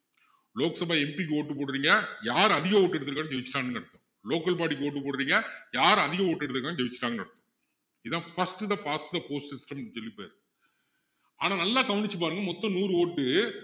Lok Sabha MP க்கு vote போடுறீங்க யாரு அதிக vote எடுத்திருக்கானோ ஜெயிச்சிட்டான்னு அர்த்தம் local body க்கு vote போடுறீங்க யாரு அதிக vote எடுத்திருக்கானோ ஜெயிசச்சிட்டான்னு அர்த்தம் இதான் first the past the post ன்னு சொல்லி பேரு ஆனா நல்லா கவனிச்சு பாருங்க மொத்தம் நூறு vote உ